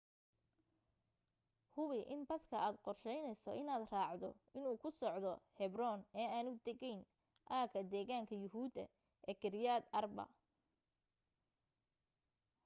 hubi in baska aad qorshaynayso inaad raacdo inuu ku socdo hebron ee aanu tegayn aaga deegaanka yuhuudda ee kiryat arba